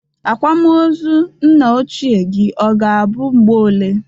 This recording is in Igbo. Akwam ọzọ nna ochie gi ọ ga-abụ mgbe ole?